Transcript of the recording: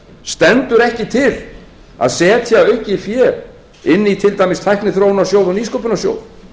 stendur ekki til að setja aukið fé inn í til dæmis tækniþróunarsjóð og nýsköpunarsjóð